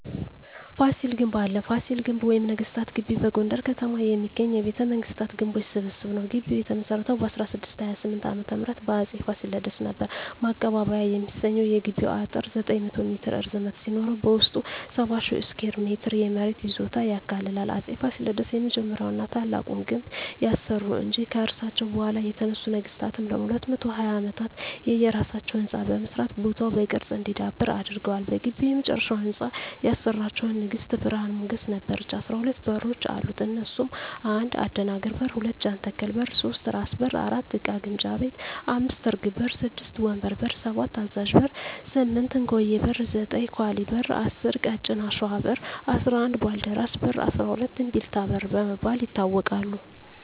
ፋሲል ግንብ አለ ፋሲል ግቢ ወይም ነገስታት ግቢ በጎንደር ከተማ የሚገኝ የቤተ መንግስታት ግንቦች ስብስብ ነዉ ግቢዉ የተመሰረተዉ በ1628ዓ.ም በአፄ ፋሲለደስ ነበር ማቀባበያ የሚሰኘዉ የግቢዉ አጥር 900ሜትር ርዝመት ሲኖረዉበዉስጡ 70,000ስኩየር ሜትር የመሬት ይዞታ ያካልላል አፄ ፋሲለደስ የመጀመሪያዉና ታላቁን ግንብ ያሰሩ እንጂ ከርሳቸዉ በኋላ የተነሱ ነገስታትም ለ220ዓመታት የየራሳቸዉ ህንፃ በመስራት ቦታዉ በቅርስ እንዲዳብር አድርገዋል በግቢዉ የመጨረሻዉን ህንፃ ያሰራቸዉን ንግስት ብርሀን ሞገስ ነበረች 12በሮች አሉት እነሱም 1. አደናግር በር 2. ጃንተከል በር 3. ራስ በር 4. እቃ ግምጃ ቤት 5. እርግብ በር 6. ወንበር በር 7. አዛዥ በር 8. እንኮዬ በር 9. ኳሊ በር 10. ቀጭን አሽዋ በር 11. ባልደራስ በር 12. እምቢልታ በር በመባል ይታወቃሉ